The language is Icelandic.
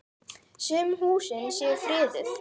Sum húsin séu friðuð.